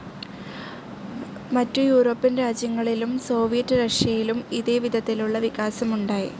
മറ്റു യൂറോപ്യൻ രാജ്യങ്ങളിലും സോവിയറ്റ്‌ റഷ്യയിലും ഇതേ വിധത്തിലുള്ള വികാസം ഉണ്ടായി.